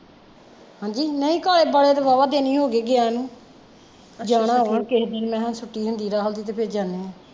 ਹਾਂਜੀ, ਨਹੀਂ ਕਾਲੇ ਵੱਲ ਤਾਂ ਵਾਵਾਂ ਦਿਨ ਈ ਹੋਗੇ ਗੀਇਆ ਨੂੰ ਜਾਣਾ ਵਾ ਕਿਸੀ ਦਿਨ ਮੈਂ ਕਿਹਾਂ ਛੁੱਟੀਆ ਦੀ ਹਾਲ ਫਿਰ ਜਾਣੇ ਆ